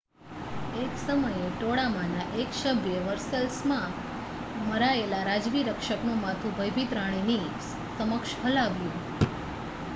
એક સમયે ટોળામાંના એક સભ્યે વર્સેલ્સમાં મરાયેલા રાજવી રક્ષકનું માથું ભયભીત રાણીની સમક્ષ હલાવ્યું